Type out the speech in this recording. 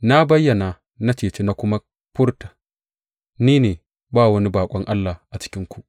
Na bayyana na ceci na kuma furta, Ni ne, ba wani baƙon allah a cikinku.